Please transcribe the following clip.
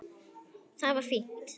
Það var fínt.